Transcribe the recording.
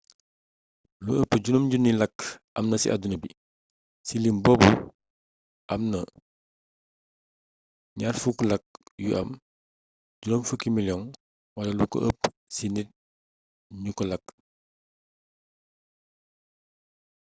lu ëpp 5 000 làkk amna ci àdduna bi ci lim boobu amna 20 làkk yu am 50 miliyoŋ wala lu ko ëpp ci nit ñu koy làkk